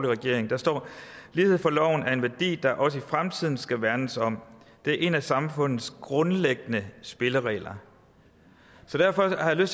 regering og der står lighed for loven er en værdi der også i fremtiden skal værnes om det er en af samfundets grundlæggende spilleregler så derfor har jeg